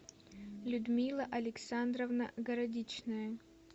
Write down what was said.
людмила александровна городичная